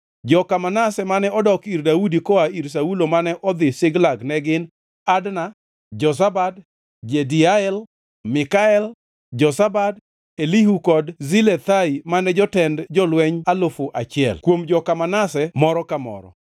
Joka Manase mane odok ir Daudi koa ir Saulo mane odhi Ziklag ne gin: Adna, Jozabad, Jediael, Mikael, Jozabad, Elihu kod Zilethai mane jotend jolweny alufu achiel (1,000) kuom joka Manase moro ka moro.